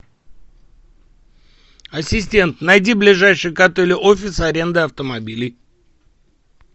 ассистент найди ближайший к отелю офис аренды автомобилей